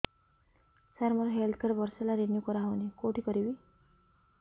ସାର ମୋର health card ବର୍ଷେ ହେଲା ରିନିଓ କରା ହଉନି କଉଠି କରିବି